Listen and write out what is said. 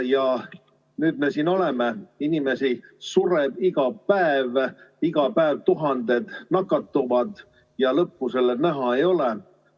Ja nüüd me siis oleme siin: inimesi sureb iga päev, iga päev tuhanded nakatuvad ja lõppu näha ei ole.